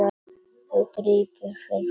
Þú krýpur fyrir framan mig.